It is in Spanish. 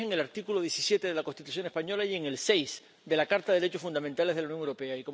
Así es en el artículo 17 de la Constitución española y en el 6 de la Carta de los Derechos Fundamentales de la Unión Europea.